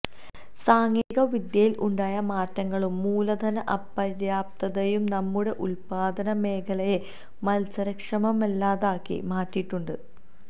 സാങ്കേതിക വിദ്യയില് ഉണ്ടായ മാറ്റങ്ങളും മൂലധന അപര്യാപ്തതയും നമ്മുടെ ഉല്പ്പാദന മേഖലയെ മത്സരക്ഷമമല്ലാതാക്കി മാറ്റിയിട്ടുണ്ട്